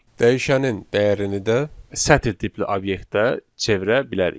dəyişənin dəyərini də sətr tipli obyektə çevirə bilərik.